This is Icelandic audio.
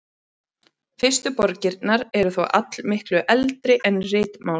Fyrstu borgirnar eru þó allmiklu eldri en ritmál.